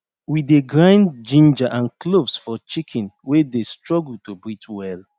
we dey grind ginger and cloves for chicken wey dey struggle to breathe well